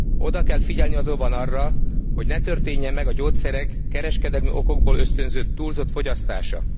Oda kell figyelni azonban arra, hogy ne történjen meg a gyógyszerek kereskedelmi okokból ösztönzött túlzott fogyasztása.